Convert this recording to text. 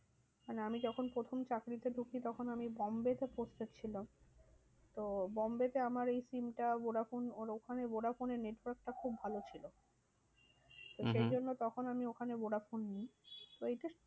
মানে আমি যখন প্রথম চাকরিতে ঢুকি তখন আমি বোম্বে তে পড়তে এসেছিলাম। তো বোম্বে তে আমার এই SIM টা ভোডাফোন আর ওখানে ভোডাফোনের network টা খুব ভালো ছিল। হম হম তো সেই জন্য তখন আমি ওখানে ভোডাফোন নি। ওই যে